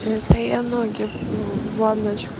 это я ноги в ванне